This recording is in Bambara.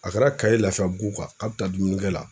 A kɛra Kayes Lafiyabugu k'a bɛ taa dumunikɛ la